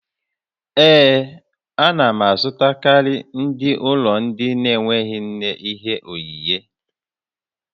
Ee, a na m azụtakarị ndị ụlọ ndị na-enweghị nne ihe onyinyé